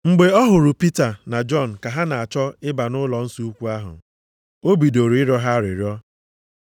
Mgbe ọ hụrụ Pita na Jọn ka ha na-achọ ịba nʼụlọnsọ ukwu ahụ, o bidoro ịrịọ ha arịrịọ.